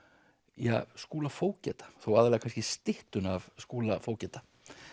ja Skúla fógeta þó aðallega kannski styttuna af Skúla fógeta